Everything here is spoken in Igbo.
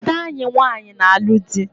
Ada anyị nwanyị na-alu dị